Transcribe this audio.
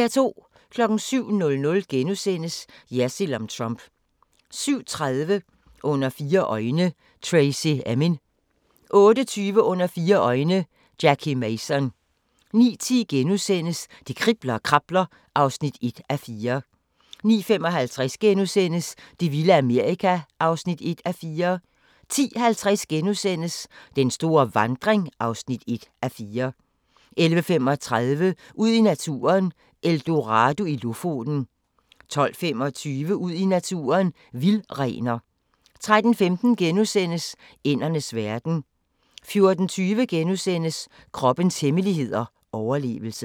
07:00: Jersild om Trump * 07:30: Under fire øjne – Tracy Emin 08:20: Under fire øjne – Jackie Mason 09:10: Det kribler og krabler (1:4)* 09:55: Det vilde Amerika (1:4)* 10:50: Den store vandring (1:4)* 11:35: Ud i naturen: Eldorado i Lofoten 12:25: Ud i naturen: Vildrener 13:15: Ændernes verden * 14:20: Kroppens hemmeligheder: Overlevelse *